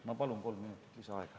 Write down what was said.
Ma palun kolm minuti lisaaega.